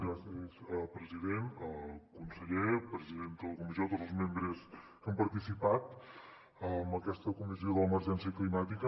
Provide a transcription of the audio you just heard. gràcies president conseller president de la comissió i tots els membres que han participat en aquesta comissió de l’emergència climàtica